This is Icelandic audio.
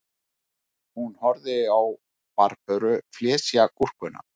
Hún horfði á Barböru flysja gúrkuna